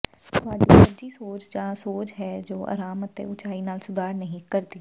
ਤੁਹਾਡੀ ਸੁੱਜੀ ਸੋਜ ਜਾਂ ਸੋਜ ਹੈ ਜੋ ਆਰਾਮ ਅਤੇ ਉਚਾਈ ਨਾਲ ਸੁਧਾਰ ਨਹੀਂ ਕਰਦੀ